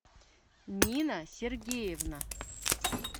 нина сергеевна